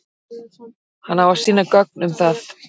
Hann á að sýna gögn um það.